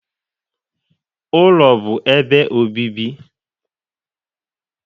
Ụlọ bụ ebe obibi.